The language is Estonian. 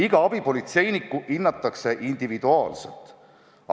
Iga abipolitseinikku hinnatakse individuaalselt.